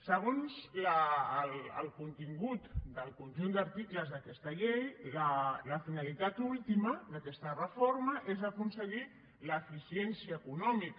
segons el contingut del conjunt d’articles d’aquesta llei la finalitat última d’aquesta reforma és aconseguir l’eficiència econòmica